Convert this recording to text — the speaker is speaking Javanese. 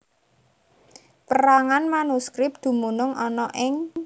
Pérangan manuskrip dumunung ana ing